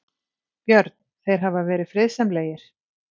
Björn: Þeir hafa verið friðsamlegir?